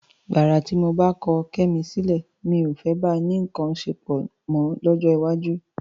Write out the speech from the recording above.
Gbàrà tí mo bá ti kọ Kẹ́mi sílẹ̀, mi ò fẹ́ bá a ní nǹkan ṣepọ̀ mọ́ lọ́jọ́ iwájú.